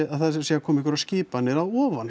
að það séu að koma einhverjar skipanir að ofan